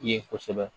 Ye kosɛbɛ